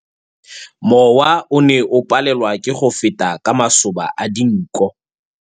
Mowa o ne o palelwa ke go feta ka masoba a dinko.